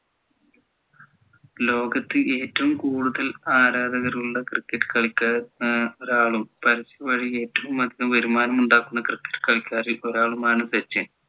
ലോകത്ത് ഏറ്റവും കൂടുതൽ ആരാധകർ ഉള്ള cricket കളിക്കാരൻ ഏർ ഒരാളും പരസ്യം വഴി ഏറ്റവും അതികം വരുമാനം ഉണ്ടാകുന്ന cricket കളിക്കാരിൽ ഒരാളും ആണ് സച്ചിൻ